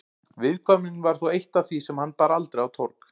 Viðkvæmnin var þó eitt af því sem hann bar aldrei á torg.